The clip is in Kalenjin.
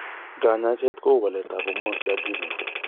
Kanyaiset kou walet ab hormones che adrenal